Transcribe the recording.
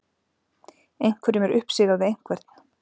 Einhverjum er uppsigað við einhvern